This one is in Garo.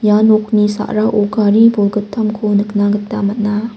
ia nokni sarao gari bolgittamko nikna gita man·a.